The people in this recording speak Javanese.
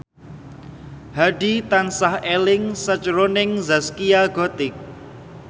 Hadi tansah eling sakjroning Zaskia Gotik